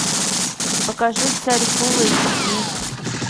покажи царь фул эйч ди